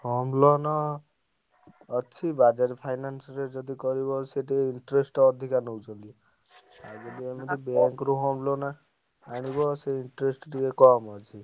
Home loan ଅଛି Bajaj Finance ରେ ଯଦି କହିବ ସେଠି interest ଅଧିକା ନଉଛନ୍ତି। ଆଉ ଯଦି ଏମିତି bank ରୁ ହଁ loan ଆଣିବ ସେ interest ଟିକେ କମ୍ ଅଛି।